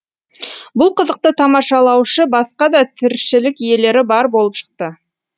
бұл қызықты тамашалаушы басқа да тіршілік иелері бар болып шықты